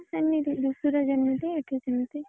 ହଁ ସେମିତି ଧୁସୁରୀ ଯେମିତି ଏଠି ସେମିତି।